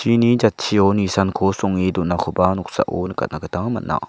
ini jatchio nisanko songe donakoba noksao nikatna gita man·a.